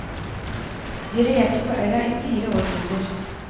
De regjerte på øya i fire århundrer.